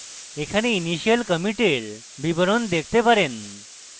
এখানে initial commit এর বিবরণ দেখতে পারেন